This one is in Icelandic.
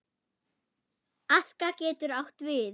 Aska getur átt við